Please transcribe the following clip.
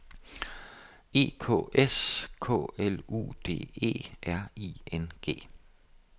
E K S K L U D E R I N G